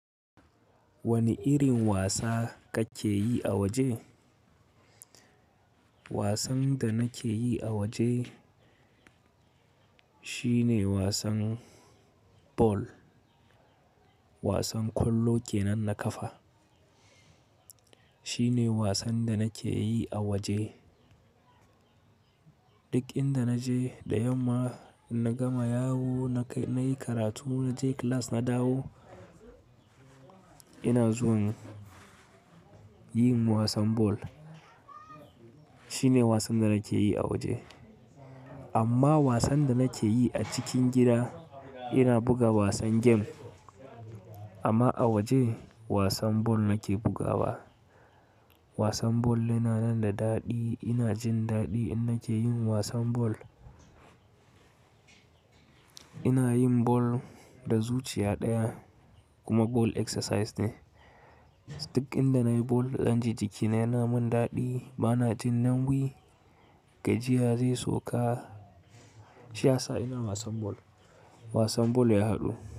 Wani irin wasa kake yi a waje? Wasan da nake yi a waje shine wasan ball. Wasan kwallo kenan na kafa shine wasan da nake yi a waje. Duk inda naje da yamma in na gama yawo, na yi karatu, na je class na dawo, ina zuwa yin wasan ball. Shine wasan da nake yi a waje. Amma wasan da nake yi a cikin gida, ina buga wasan game. Amma a waje wasan ball nake bugawa. Wasan ball yana nan da daɗi. Ina jin daɗi in nake yin wasan ball. Ina yin ball da zuciya ɗaya kuma ball exercise ne. Duk inda nayi ball naɗan ji jikina yana min daɗi. Ba na jin nawwi gajiya zai soka. Shiyasa ina wasan ball. Wasan ball ya haɗu.